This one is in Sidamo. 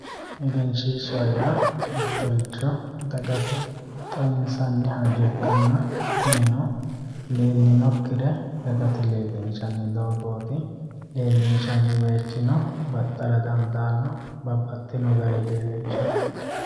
Egenshishsha yaa mittoricho dagate xawinsanni hayyo ikkanna kunino leelinokkire dagate leelinshanni doogoti ,leelinshanni bayichino baxara dandaano ,babbaxino garini leelinshara.